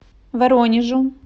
воронежу